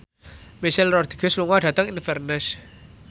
Michelle Rodriguez lunga dhateng Inverness